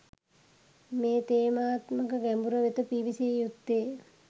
මේ තේමාත්මක ගැඹුර වෙත පිවිසිය යුත්තේ.